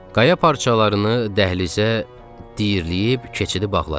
Qaya parçalarını dəhlizə diyirləyib keçidi bağladıq.